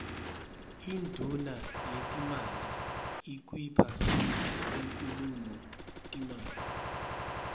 induuna yetetimali ikuipha inkhulumo timali